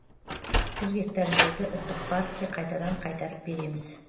жүз гектар жерді ұлттық паркке қайтадан қайтарып береміз